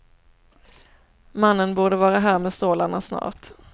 Mannen borde vara här med stålarna snart.